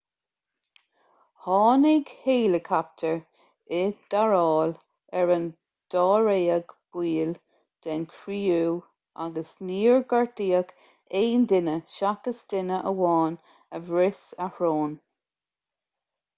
tháinig héileacaptair i dtarrtháil ar an dáréag baill den chriú agus níor gortaíodh aon duine seachas duine amháin a bhris a shrón